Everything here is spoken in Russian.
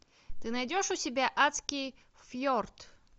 ты найдешь у себя адский фьорд